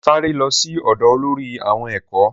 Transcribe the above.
Sáré lo sí ódo olórí àwọn ẹ̀kọ́